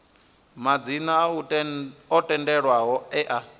madzina o tendelwaho e a